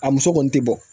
A muso kɔni tɛ bɔ